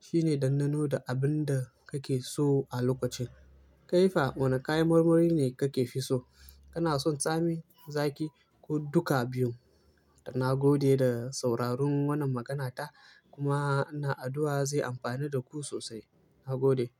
shi ne ɗan ɗano da abin da kake so a lokaci. Kai fa wane kayan marmari ne kake fi so? Kana son tsami, zaki ko duka biyun? Na gode da sauraron wannan maganata kuma ina addu'a zai amfanu da ku sosai. Na gode.